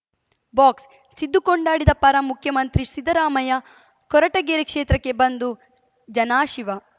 box Siddu ಕೊಂಡಾಡಿದ ಪರ ಮುಖ್ಯಮಂತ್ರಿ ಸಿದ್ದರಾಮಯ್ಯ ಕೊರಟಗೆರೆ ಕ್ಷೇತ್ರಕ್ಕೆ ಬಂದು ಜನಾಶೀವ